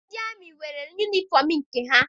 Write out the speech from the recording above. Ndị amị nwere yunifọm nke ha.